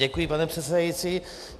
Děkuji, pane předsedající.